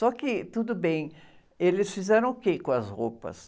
Só que tudo bem, eles fizeram o quê com as roupas?